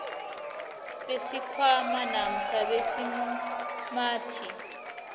besikhwama namkha besimumathi